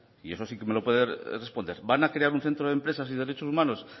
y eso si que me lo puede responder van a crear un centro de empresas y derecho humanos